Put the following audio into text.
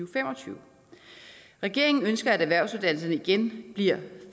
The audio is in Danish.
og fem og tyve regeringen ønsker at erhvervsuddannelserne igen bliver